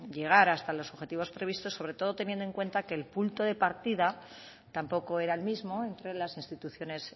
llegar hasta los objetivos previstos sobre todo teniendo en cuenta que el punto de partida tampoco era el mismo entre las instituciones